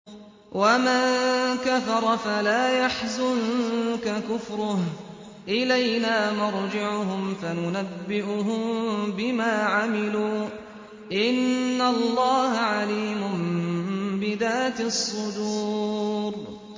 وَمَن كَفَرَ فَلَا يَحْزُنكَ كُفْرُهُ ۚ إِلَيْنَا مَرْجِعُهُمْ فَنُنَبِّئُهُم بِمَا عَمِلُوا ۚ إِنَّ اللَّهَ عَلِيمٌ بِذَاتِ الصُّدُورِ